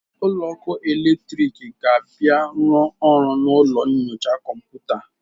Onye ọkụ eletriki ga-abịa rụọ ọrụ na ụlọ nyocha kọmputa.